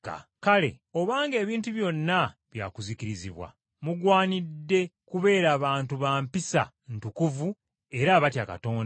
Kale obanga ebintu byonna bya kuzikirizibwa, mugwanidde kubeeranga bantu ba mpisa ntukuvu era abatya Katonda,